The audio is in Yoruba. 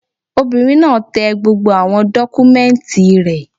Obìnrin náà tẹ gbogbo àwọn dọ́kúmẹ́ǹtì rẹ̀